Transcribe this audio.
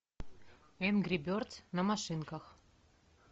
энгри бердз на машинках